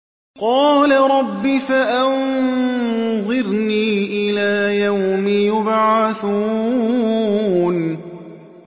قَالَ رَبِّ فَأَنظِرْنِي إِلَىٰ يَوْمِ يُبْعَثُونَ